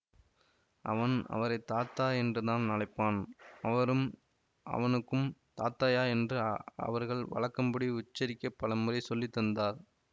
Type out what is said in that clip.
அவன் அவரை தாதா என்றுதான் அழைப்பான் அவரும் அவனுக்கும் தாத்தய்யா என்று அவர்கள் வழக்கப்படி உச்சரிக்கப் பலமுறை சொல்லித்தந்தார்